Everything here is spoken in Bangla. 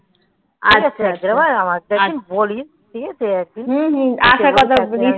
আচ্ছা আচ্ছা আমাকে বলিস ঠিক আছে আর একটা কথা বলি